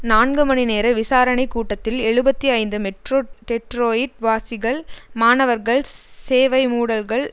நான்கு மணி நேர விசாரணை கூட்டத்தில் எழுபத்தி ஐந்து மெட்ரோ டெட்ரோயிட் வாசிகள் மாணவர்கள் சேவைமூடல்கள்